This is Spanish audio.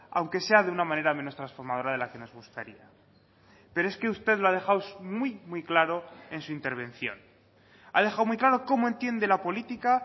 aunque sea de una manera menos transformadora de la que nos gustaría pero es que usted lo ha dejado muy muy claro en su intervención ha dejado muy claro cómo entiende la política